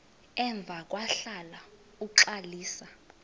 emva kwahlala uxalisa